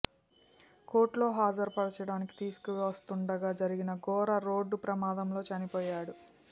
court లో హాజరు పరచడానికి తీసుకు వస్తుండగా జరిగిన ఘోర రోడ్డు ప్రమాదంలో చనిపోయాడు